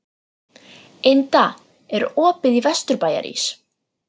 Inda, er opið í Vesturbæjarís?